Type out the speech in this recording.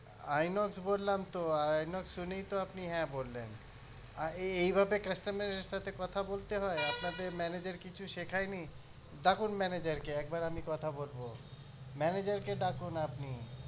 inox বললামতো Inox শুনেই তো আপনি হ্যাঁ বললেন এইভাবে customer এর সাথে কথা বলতে হয় আপনাদের manager কিছু শেখায়নি ডাকুন manager কে একবার আমি কথা বলবো manager কে ডাকুন আপনি